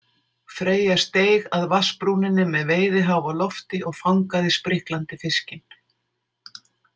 Freyja steig að vatnsbrúninni með veiðiháf á lofti og fangaði spriklandi fiskinn.